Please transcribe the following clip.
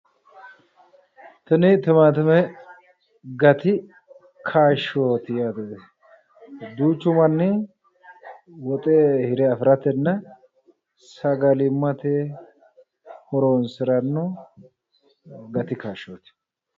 Tini timaatime gati kaashooti yaate, duuchu manni woxe hire afi'ratenna sagalimmate horo'nsiranno gati kaashooti.